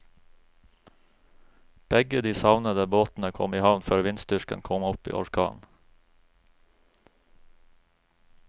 Begge de savnede båtene kom i havn før vindstyrken kom opp i orkan.